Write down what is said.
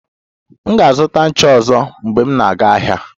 M ga-azụta ncha ọzọ mgbe m na-aga ahịa